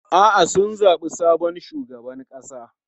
A'a, sun zabi sabon shugaban ƙasa.